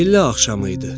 Çillə axşamı idi.